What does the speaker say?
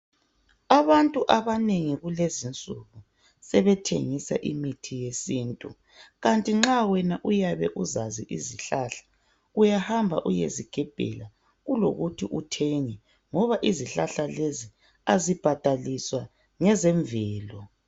Abantu abanengi kulezi insuku sebethengisa imithi yesiNtu kanti nxa wena uyabe uzazi izihlahla uyahamba uyezigebhela kulokuthi uthenge ngoba izihlahla lezi azibhadaliswa ngezemvelo.